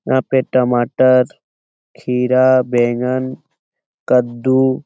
यहाँ पे टमाटर खीरा बैंगन कद्दू --